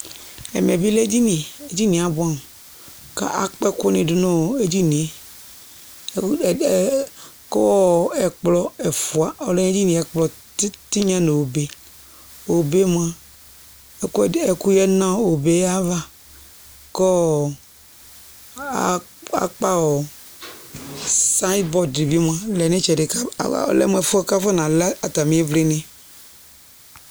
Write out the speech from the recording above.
Ɛmɛ bɩ lɛ edini Edini yɛ abʋɛamʋ kʋ akpa ɛkʋnɩ dʋ nʋ edini yɛ ewu ɛɛ kʋ ɛkplɔ ɛfʋa ɔlɛ nʋ edini yɛ, ɛkplɔ tɩnya nʋ obe Obe yɛ mʋa, ɛkʋɛdɩ ɛkʋ yǝdu nʋ obe yɛ ava kʋ akpa sayɩnbɔrd bɩ mʋa, lɛ nʋ ɩtsɛdɩ kʋ alɛ mʋ ɛfʋ yɛ kʋ afɔnalɛ atamɩ ɩvlɩnɩ